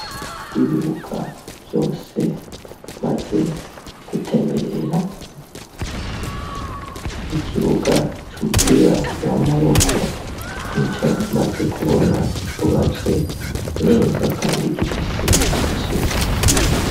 Ibibuga vyose, maze gutemberera ikibuga c'umupira wamaboko ni co, maze kubona cubatswe neza, kandi gifise isuku.